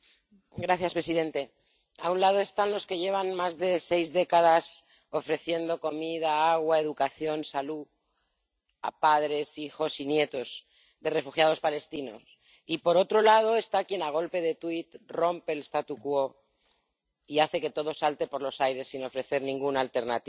Señor presidente, a un lado están los que llevan más de seis décadas ofreciendo comida, agua, educación, salud a padres, hijos y nietos de refugiados palestinos y por otro lado está quien a golpe de tuit rompe el y hace que todo salte por los aires sin ofrecer ninguna alternativa.